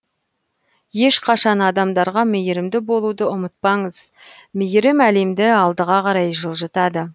ешқашан адамдарға мейірімді болуды ұмытпаңыз мейірім әлемді алдыға қарай жылжытады